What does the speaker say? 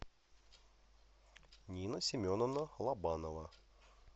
нина семеновна лобанова